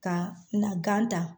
Ka n na gan ta